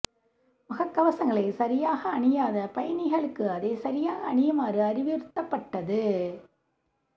முககவசங்களை சரியாக அணியாத பயணிகளுக்கு அதை சரியாக அணியுமாறு அறிவுறுத்தப்பட்டது